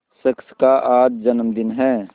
शख्स का आज जन्मदिन है